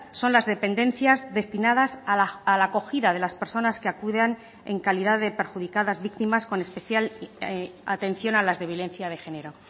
son las dependencias destinadas a la acogida de las personas que acudan en calidad de perjudicadas víctimas con especial atención a las de violencia de género